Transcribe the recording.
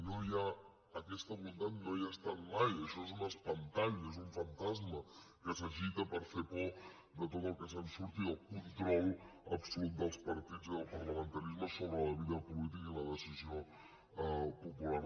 no hi ha aquesta voluntat no hi ha estat mai això és un espantall és un fantasma que s’agita per fer por de tot el que se surti del control absolut dels partits i del parlamentarisme sobre la vida política i la decisió popular